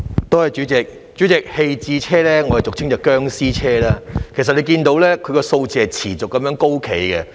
代理主席，棄置車輛俗稱"殭屍車"，這類車輛數目持續高企。